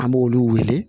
An b'olu wele